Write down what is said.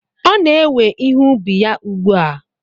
Ọ na-ewe ihe ubi ya ugbu a.